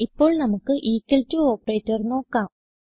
ഇപ്പോൾ നമുക്ക് equal to operator നോക്കാം